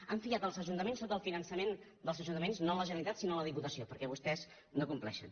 han fiat els ajuntaments sota el finançament dels ajuntaments no la generalitat sinó en la diputació perquè vostès no compleixen